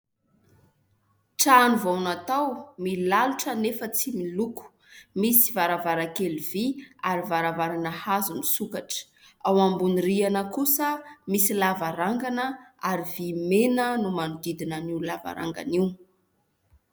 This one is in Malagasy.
Trano vao natao milalotra nefa tsy miloko, misy varavarakely vy ary varavarana hazo misokatra, ao ambony rihana kosa misy lavarangana ary vy mena no manodidina an'io lavarangana io.